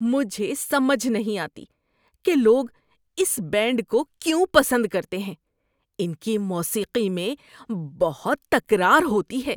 مجھے سمجھ نہیں آتی کہ لوگ اس بینڈ کو کیوں پسند کرتے ہیں۔ ان کی موسیقی میں بہت تکرار ہوتی ہے۔